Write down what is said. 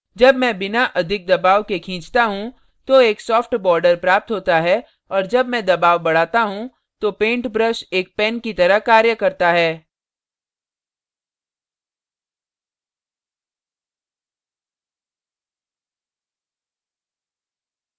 जब मैं बिना अधिक दबाव के खींचता हूँ तो एक soft border प्राप्त होता है और जब मैं दबाव बढ़ाता हूँ तो paint brush एक pen की तरह कार्य करता है